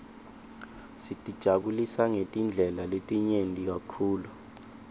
sitijabulisa ngetindlela letinyenti kakhulu